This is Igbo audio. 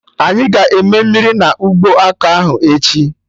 Anyị ga-eme mmiri na ụgbọ ọka ahụ echi